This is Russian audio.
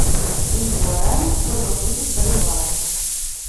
три гуарани сколько будет боливаров